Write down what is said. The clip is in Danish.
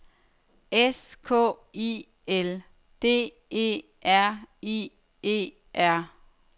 S K I L D E R I E R